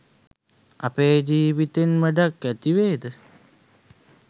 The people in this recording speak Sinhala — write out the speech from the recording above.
අපේ ජීවිතෙන් වැඩක් ඇතිවේද